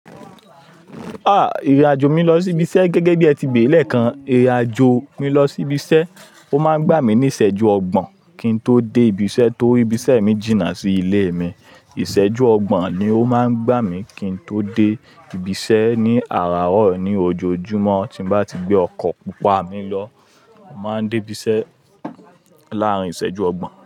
Ìrìn àjò mi lọ sí ibi iṣẹ́ gẹ́gẹ́ bí ẹ ti pè lẹ́ẹ̀kan, ìrìn àjò mi lọ sí ibi iṣẹ́, ó máa ń gbà mí ní ìṣẹ́jú ọgbọ̀n kí n tó dé ibi iṣẹ́ tó ibi iṣẹ́ mi jìnnà sí ilé mi. Ìṣẹ́jú ọgbọ̀n ni ó máa ń gbà mí kí n tó dé ibi iṣẹ́ ní àràárọ̀ ní ojoojúmọ́ tí n bá ti gbé ọkọ̀ pupa mi lọ. Mo máa ń dé ibi iṣẹ́ láàrin ìṣẹ́jú ọgbọ̀n.